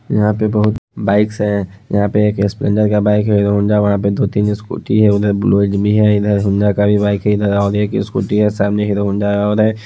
यहां पे बहुत बाइक्स है यहां पे एक स्प्लेंडर का बाइक है हीरो होंडा वहां पे दो-तीन स्कूटी है उधर ब्लो है इधर होंडा का भी बाइक है इधर और एक स्कूटी हैँ सामने हीरो होंडा और--